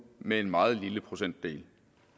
med en meget lille procentdel